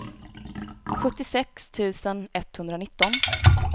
sjuttiosex tusen etthundranitton